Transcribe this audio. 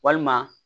Walima